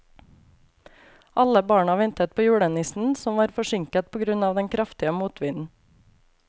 Alle barna ventet på julenissen, som var forsinket på grunn av den kraftige motvinden.